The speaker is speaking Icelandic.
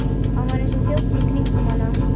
Hann var eins og þjónn í kringum hana.